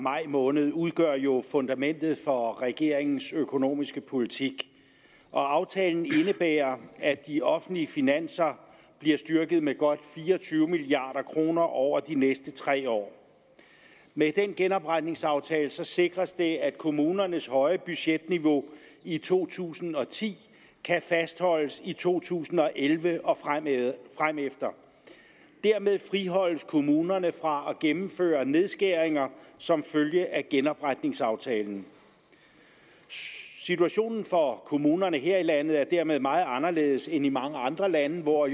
maj måned udgør jo fundamentet for regeringens økonomiske politik og aftalen indebærer at de offentlige finanser bliver styrket med godt fire og tyve milliard kroner over de næste tre år med genopretningsaftalen sikres det at kommunernes høje budgetniveau i to tusind og ti kan fastholdes i to tusind og elleve og fremefter dermed friholdes kommunerne fra at gennemføre nedskæringer som følge af genopretningsaftalen situationen for kommunerne her i landet er dermed meget anderledes end i mange andre lande hvor